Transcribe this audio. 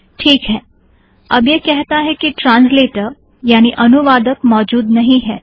teak है - अब यह कहता है कि ट्रांसलेटर यानि अनुवादक मौजूद नहीं है